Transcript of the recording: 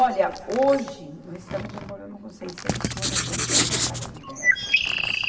Olha, hoje nós estamos com um problema com seiscentos moradores da retirada do Dersa.